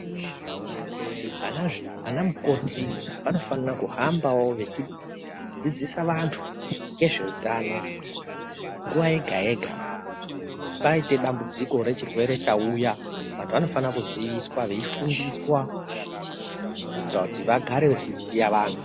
Ana mukoti vanofanirawo kuhamba vechidzidzisa antu ngezvehutano nguwa yega yega paita dambudziko yechirwere chauya vantu vanofanira kuziviswa nekufundiswa kuitira kuti vagare vachiziva vantu .